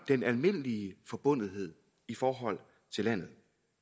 den almindelige forbundethed i forhold til landet